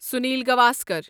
Sunil Gavaskar